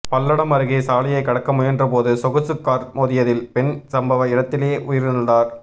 பல்லடம் அருகே சாலையை கடக்க முயன்றபோது சொகுசுக் கார் மோதியதில் பெண் சம்பவ இடத்திலேயே உயிரிழந்தார்